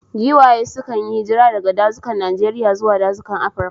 Giwaye sukan yi hijira daga dazukan Najeriya zuwa dazukan Afirka.